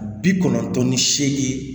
Bi kɔnɔntɔn ni seegin